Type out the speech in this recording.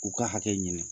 K'u ka hakɛ ɲini